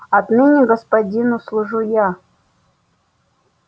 отныне господину служу я